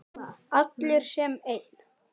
Allir sem einn.